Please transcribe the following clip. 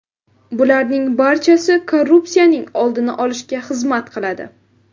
Bularning barchasi korrupsiyaning oldini olishga xizmat qiladi.